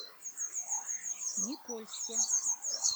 никольске